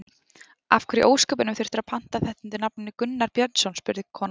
Af hverju í ósköpunum þurftirðu að panta þetta undir nafninu Gunnar Björnsson, spurði konan.